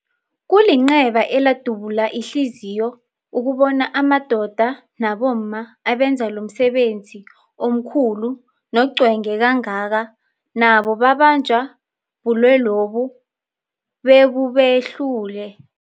Kulinceba elidabula ihliziyo ukubona amadoda nabomma abenza lomsebenzi omkhulu nocwenge kangaka nabo babanjwa bulwelobu bebubehlule.